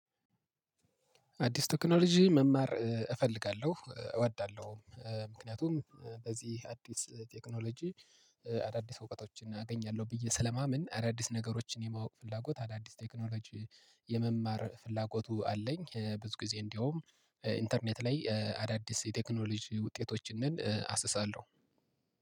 አዲስ ቴክኖሎጂ መማር እፈልጋለሁ እወዳለሁ እ ምክንያቱም በዚህ አዲስ ቴክኖሎጂ አዳዲስ እውቀቶችን አገኛለሁ ብዬ ስለማመን አዳዲስ ነገሮችን የማወቅ ፍላጎት አዳዲስ ቴክኖሎጂ የመማር ፍላጎቱ አለኝ። ብዙ ጊዜ እንዴውም ኢንተርኔት ላይ አዳዲስ የቴክኖሎጂ ውጤቶችን አስሳለሁ።